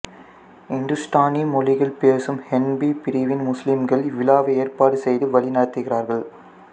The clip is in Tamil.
இந்துஸ்தானி மொழிகள் பேசும் ஹனெபி பிரிவின் முஸ்லிம்கள் இவ்விழாவை ஏற்பாடு செய்து வழிநடத்துகிறார்கள்